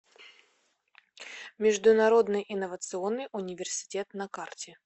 международный инновационный университет на карте